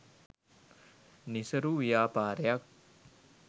නිසරු ව්‍යාපාරයක්